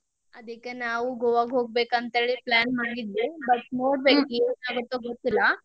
ಅದಕ್ಕೆ ನಾವು ಗೋವಾಕ್ ಹೋಗ್ಬೇಕಂತ ಹೇಳಿ plan ಮಾಡಿದ್ವಿ, but ನೋಡ್ಬೇಕ್ ಏನ್ ಆಗತ್ತೋ ಗೊತ್ತಿಲ್ಲ.